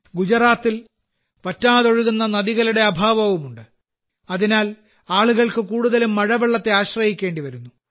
ഗുജറാത്തിൽ വറ്റാതൊഴുകുന്ന നദികളുടെ അഭാവവുമുണ്ട് അതിനാൽ ആളുകൾക്ക് കൂടുതലും മഴവെള്ളത്തെ ആശ്രയിക്കേണ്ടിവരുന്നു